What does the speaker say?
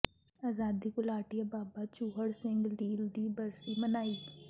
ਆਜ਼ਾਦੀ ਘੁਲਾਟੀਏ ਬਾਬਾ ਚੂਹੜ ਸਿੰਘ ਲੀਲ ਦੀ ਬਰਸੀ ਮਨਾਈ